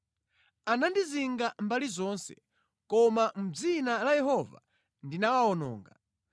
Anandizinga mbali zonse, koma mʼdzina la Yehova ndinawawononga.